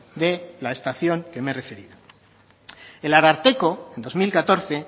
de la estación que me he referido el ararteko en dos mil catorce